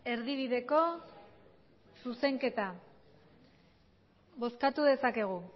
erdibideko zuzenketa bozkatu dezakegu